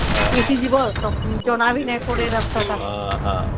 ଉଠି ଯିବା ଜଣ ବି ନାଇଁ ପଡେ ରାସ୍ତା ଟା